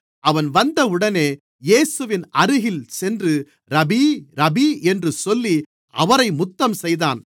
அவன் வந்தவுடனே இயேசுவின் அருகில் சென்று ரபீ ரபீ என்று சொல்லி அவரை முத்தம்செய்தான்